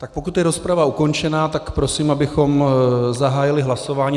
Tak pokud je rozprava ukončena, tak prosím, abychom zahájili hlasování.